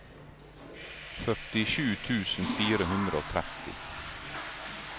førtisju tusen fire hundre og tretti